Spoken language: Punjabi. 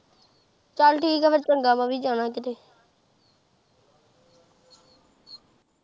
ਚੱਲ ਠੀਕ ਐ ਫਿਰ ਚੰਗਾ ਮੈਂ ਵੀ ਜਾਣਾ ਕਿਤੇ